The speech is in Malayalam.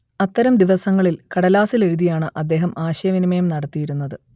അത്തരം ദിവസങ്ങളിൽ കടലാസിൽ എഴുതിയാണ് അദ്ദേഹം ആശയവിനിമയം നടത്തിയിരുന്നത്